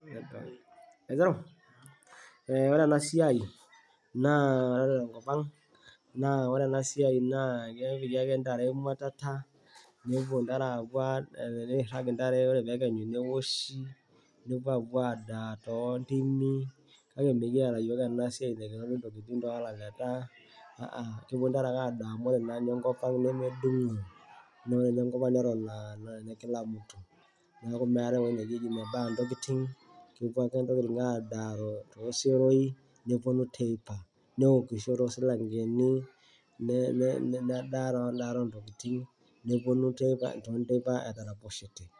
Ore ena siaai naa ore te nkopang' naa ore ana siaai naa kepiki ake intarre imwatata neiirag intarre ore ake peikenyu neoshi nepoo aapo adaa too ntimi kake mikieta yiook ana siaai napiki ntokitin too laleta, kake kepo ake intarre kore nkopang nemedung'i neaku meatae eng'oji najii eji mebaya ntokitin kepo ake ntokitin adaaro too seroii neponu teipa, neokusho too silang'eni nedaa too ndaarot oo ntokitin neponu teipa ataroposhete.